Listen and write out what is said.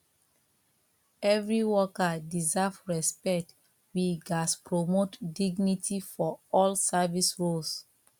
every worker deserve respect we gats promote dignity for all service roles